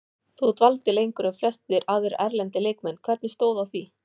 Þú dvaldir lengur en flestir aðrir erlendir leikmenn, hvernig stóð að því?